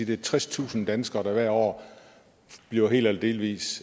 det er tredstusind danskere der hvert år bliver helt eller delvist